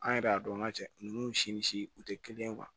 An yɛrɛ y'a dɔn an ka cɛ ninnu si ni si u tɛ kelen ye